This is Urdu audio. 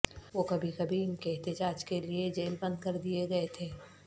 وہ کبھی کبھی ان کے احتجاج کے لئے جیل بند کردیئے گئے تھے